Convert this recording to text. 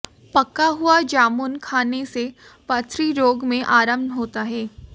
पका हुआ जामुन खाने से पथरी रोग में आराम होता है